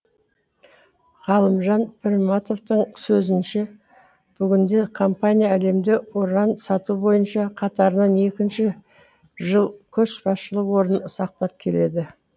ғалымжан пірматовтың сөзінше бүгінде компания әлемде уран сату бойынша қатарынан екінші жыл көшбасшылық орнын сақтап келеді